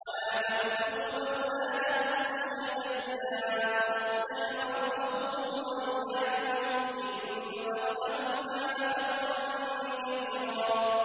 وَلَا تَقْتُلُوا أَوْلَادَكُمْ خَشْيَةَ إِمْلَاقٍ ۖ نَّحْنُ نَرْزُقُهُمْ وَإِيَّاكُمْ ۚ إِنَّ قَتْلَهُمْ كَانَ خِطْئًا كَبِيرًا